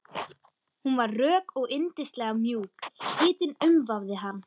Hún var rök og yndislega mjúk, hitinn umvafði hann.